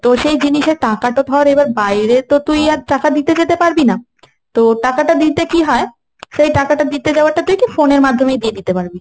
তো সেই জিনিসের টাকা তো ধর এবার তুই বাইরে তো তুই ধর আর টাকা দিতে যেতে পারবি না, তো টাকাটা দিতে কি হয় সেই টাকাটা দিতে যাওয়া তুই কি phone এর মাধ্যমেই দিয়ে দিতে পারবি।